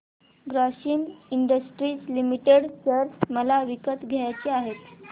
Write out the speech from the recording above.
Grasim industries limited share मला विकत घ्यायचे आहेत